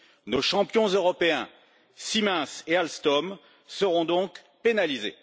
Nos champions européens Siemens et Alstom seront donc pénalisés.